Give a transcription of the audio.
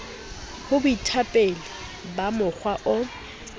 ho boetapele ba mokga o